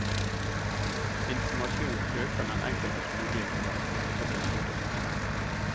Informasjon øker den enkeltes mulighet til å mestre sin sykdom.